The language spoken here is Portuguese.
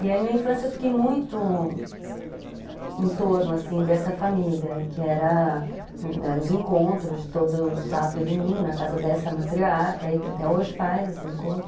E aí, minha infância, eu fiquei muito em torno, assim, dessa família, que eram os encontros de todo sábado e domingo na casa dessa matriarca aí, que até hoje faz esse encontro.